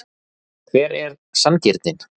Hver er sanngirnin?